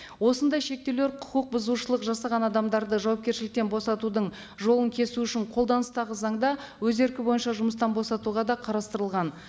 осындай шектеулер құқық бұзушылық жасаған адамдарды жауапкершіліктен босатудың жолын кесу үшін қолданыстағы заңда өз еркі бойынша жұмыстан босатуға да қарастырылған